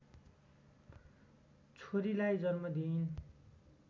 छोरीलाई जन्म दिइन्